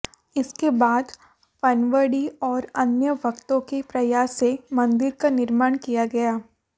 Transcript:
इसके बाद पनवाड़ी और अन्य भक्तों के प्रयास से मंदिर का निर्माण किया गया